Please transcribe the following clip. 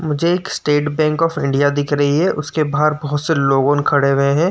मुझे एक State Bank of India दिख रही है। उसके बाहर बोहोत से लोगोन खड़े हुए हैं।